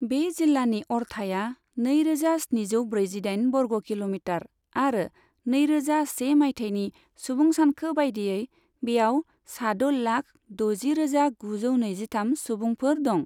बे जिल्लानि अरथाइया नैरोजा स्निजौ ब्रैजिदाइन बर्ग किल'मिटार आरो नैरोजा से मायथाइनि सुबुं सानखो बायदियै बेयाव सा द' लाख दजि रोजा गुजौ नैजिथाम सुबुंफोर दं।